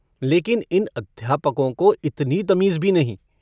लेकिन इन अध्यापकों को इतनी तमीज़ भी नहीं।